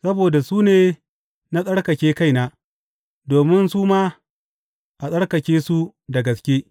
Saboda su ne na tsarkake kaina, domin su ma a tsarkake su da gaske.